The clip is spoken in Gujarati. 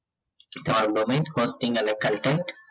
call domain costing